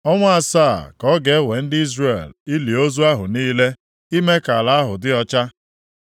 “ ‘Ọnwa asaa ka ọ ga-ewe ndị Izrel ili ozu ahụ niile, ime ka ala ahụ dị ọcha.